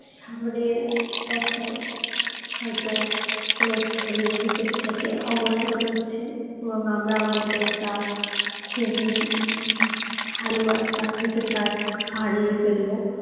সামনের বছর হয়তো এম এস ধোনি cricket থেকে অবসর নিচ্ছেন এবং আমরা আমাদের একটা খুবই উম ভালো একটা cricketer হারিয়ে ফেলবো